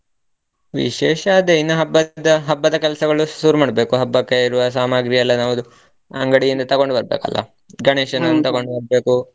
ವಿಶೇಷ ಅದೇ ಇನ್ನು ಹಬ್ಬದ ಹಬ್ಬದ ಕೆಲಸಗಳು ಶುರು ಮಾಡ್ಬೇಕು ಹಬ್ಬಕ್ಕೆ ಇರುವ ಸಾಮಗ್ರಿ ಎಲ್ಲ ನಾವಾದು ಅಂಗಡಿಯಿಂದ ತಗೊಂಡು ಬರ್ಬೇಕಲ್ಲ ಬರ್ಬೇಕು.